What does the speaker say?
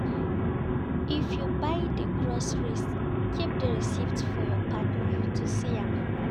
If you buy di groceries keep di receipt for your partner to see am